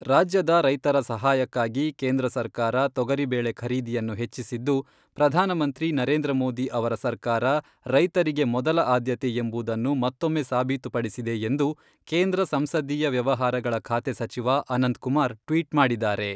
ರಾಜ್ಯದ ರೈತರ ಸಹಾಯಕ್ಕಾಗಿ ಕೇಂದ್ರ ಸರ್ಕಾರ ತೊಗರಿ ಬೇಳೆ ಖರೀದಿಯನ್ನು ಹೆಚ್ಚಿಸಿದ್ದು, ಪ್ರಧಾನಮಂತ್ರಿ ನರೇಂದ್ರ ಮೋದಿ ಅವರ ಸರ್ಕಾರ ರೈತರಿಗೆ ಮೊದಲ ಆದ್ಯತೆ ಎಂಬುದನ್ನು ಮತ್ತೊಮ್ಮೆ ಸಾಬಿತುಪಡಿಸಿದೆ ಎಂದು ಕೇಂದ್ರ ಸಂಸದೀಯ ವ್ಯವಹಾರಗಳ ಖಾತೆ ಸಚಿವ ಅನಂತ್ಕುಮಾರ್ ಟ್ವಿಟ್ ಮಾಡಿದ್ದಾರೆ.